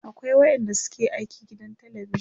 akwai waƴanda suke aiki gidan telebijan